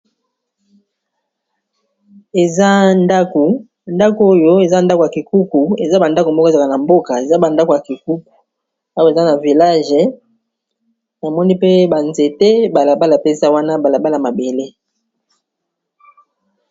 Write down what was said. ndako oyo eza ndako ya kikuku eza bandako mboka ezaka na mboka eza bandako ya kikuku awa eza na village amoni pe banzete balabala peza wana balabala mabele